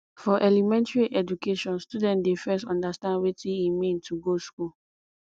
for elementary education student dey first understand wetin e mean to go school